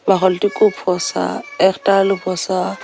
ফসা একটা আলু পচা।